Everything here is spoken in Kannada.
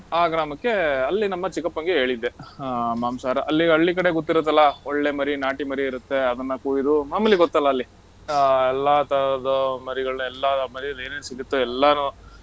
ಆ ಗ್ರಾಮಕ್ಕೆ ಅಲ್ಲಿ ನಮ್ಮ ಚಿಕ್ಕಪ್ಪನ್ಗೆ ಹೇಳಿದ್ದೆ. ಆಹ್ ಮಾಂಸಾಹಾರ. ಅಲ್ಲಿ ಹಳ್ಳಿ ಕಡೆ ಗೊತ್ತಿರತ್ತಲ್ಲ, ಒಳ್ಳೆ ಮರಿ ನಾಟಿ ಮರಿ ಇರತ್ತೆ, ಅದನ್ನ ಕುಯ್ದು, ಆಮೇಲೆ ಗೊತ್ತಲ್ಲ ಅಲ್ಲಿ, ಆಹ್ ಎಲ್ಲಾ ತರದ್ದು ಮರಿಗಳನ್ನ ಎಲ್ಲಾರ್ ಮರೀಲ್ ಏನೆನ್ ಸಿಗುತ್ತೋ ಎಲ್ಲಾನು